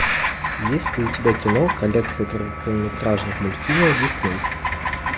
есть ли у тебя кино коллекция короткометражных мультфильмов дисней